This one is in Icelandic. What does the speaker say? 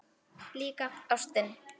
Líka ástin.